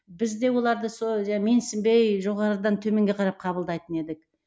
бізде оларды сол менсінбей жоғарыдан төменге қарап қабылдайтын едік